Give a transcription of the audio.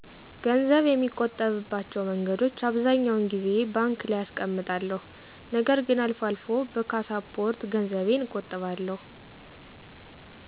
ገንዘብ የሚቆጥብባቸው መንገዶች አብዛኛውን ጊዜ ባንክ ላይ አስቀምጣለሁ ነገር ግን አልፎ አልፎ በካሳፖርት ገንዘቤን እቆጥባለሁ።